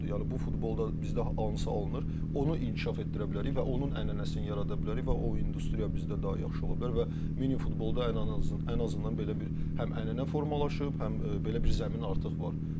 Yəni bu futbolda bizdə hansı alınır, onu inkişaf etdirə bilərik və onun ənənəsini yarada bilərik və o industriya bizdə daha yaxşı ola bilər və mini futbolda ən azından belə bir həm ənənə formalaşıb, həm belə bir zəmin artıq var.